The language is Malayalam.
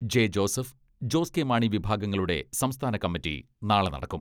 ജെ ജോസഫ് ജോസ് കെ മാണി വിഭാഗങ്ങളുടെ സംസ്ഥാന കമ്മിറ്റി നാളെ നടക്കും.